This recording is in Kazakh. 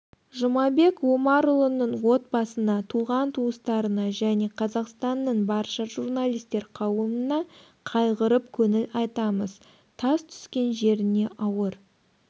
жұмабек омарұлының отбасына туған-туыстарына және қазақстанның барща журналистер қауымына қайғырып көңіл айтамыз тас түскен жеріне ауыр